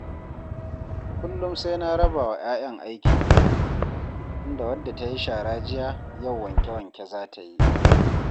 Kullum sai na raba wa 'ya'yan aikin gida, inda wadda ta yi shara jiya, yau wanke-wanke za ta yi